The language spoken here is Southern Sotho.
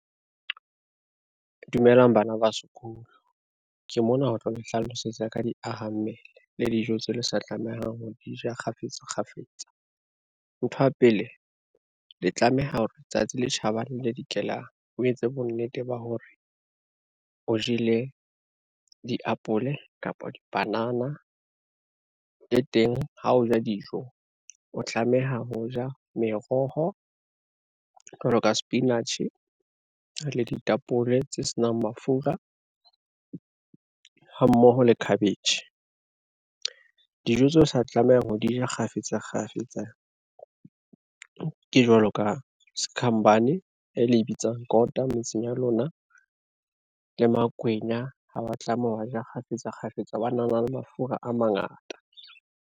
Dumelang bana ba sekolo, ke mona ho tlo le hlalosetsa ka diahammele le dijo tseo le sa tlamehang ho di ja kgafetsakgafetsa. Nthwa pele le tlameha hore tsatsi le tjhabang le le dikelang, o etse bonnete ba hore o jele diapole kapa dipanana, le teng ha o ja dijo o tlameha ho ja meroho, jwalo ka sepinatjhe le ditapole tse senang mafura ha mmoho le cabbage. Dijo tseo sa tlamehang ho di ja kgafetsakgafetsa ke jwalo ka sekhambane e le bitsang kota metseng ya lona le makwenya ha wa tlameha ho ja kgafetsakgafetsa, hobane a na le mafura a mangata.